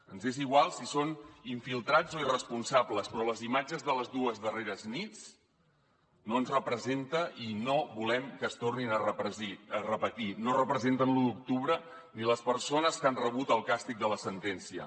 ens és igual si són infiltrats o irresponsables però les imatges de les dues darreres nits no ens representen i no volem que es tornin a repetir no representen l’u d’octubre ni les persones que han rebut el càstig de la sentència